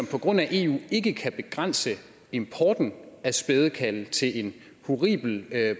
på grund af eu ikke kan begrænse importen af spædekalve til en horribel